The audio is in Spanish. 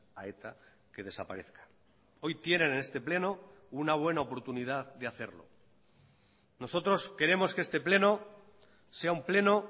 a eta que desaparezca hoy tienen en este pleno una buena oportunidad de hacerlo nosotros queremos que este pleno sea un pleno